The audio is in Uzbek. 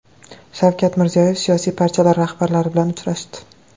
Shavkat Mirziyoyev siyosiy partiyalar rahbarlari bilan uchrashdi.